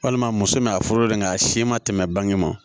Walima muso bɛna a foroden kan a si ma tɛmɛ bange ma